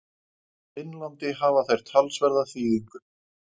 Finnlandi hafa þær talsverða þýðingu.